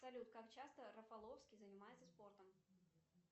салют как часто рафаловский занимается спортом